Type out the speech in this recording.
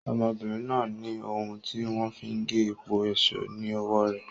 ọmọbìnrin náà ní ohun tí wọ́n fi n ge epo èso ni ọwọ́ rẹ̀.